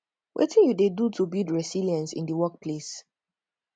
wetin you dey do to build resilience in dey workplace